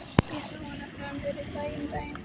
Ég sá hann nefnilega niðri í bæ um daginn.